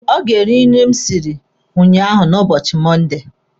Ọ ga-eri nri m siri ụnyaahụ n'ubochi Mọnde.